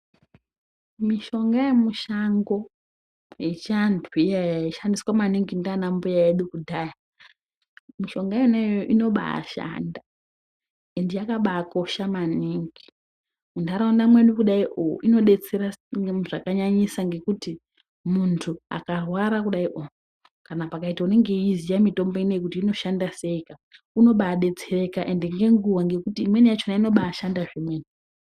Mishonga yemishango yechiantu iyaiyaya yaishandiswa maningi ndiana mbuya edu kudhaya ,mishonga yona iyoyo inombaashanda ende yakambaakosha mwaningi .Mundaraunda mwedu kudaio inodetsera zvakanyanyisa kuti ngekuti muntu akarwa kudai ohh kana pakaite muntu anoiziva mitombo iyoy ka kuti inoshanda sei ka unombadetsereka ende ngenguva ngekuti imweni yacho inombaabshanda zvemene .